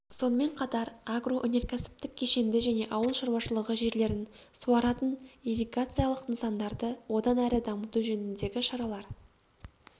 сонымен қатар агроөнеркәсіптік кешенді және ауыл шаруашылығы жерлерін суаратын ирригациялық нысандарды одан әрі дамыту жөніндегі шаралар